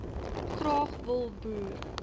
graag wil boer